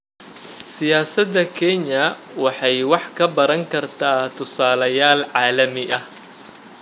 Siyaasada Kenya waxay wax ka baran kartaa tusaalayaal caalami ah.